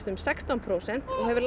um sextán prósent og hefur